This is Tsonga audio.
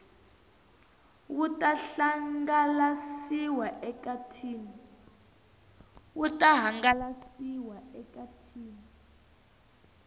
wu ta hangalasiwa eka tin